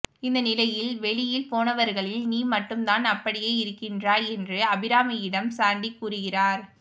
இந்த நிலையில் வெளியில் போனவர்களில் நீ மட்டும்தான் அப்படியே இருக்கின்றாய் என்று அபிராமியிடம் சாண்டி கூறுகிறார்